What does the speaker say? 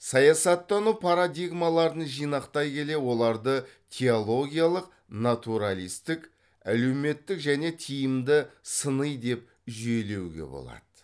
саясаттану парадигмаларын жинақтай келе оларды теологиялық натуралистік әлеуметтік және тиімді сыни деп жүйелеуге болады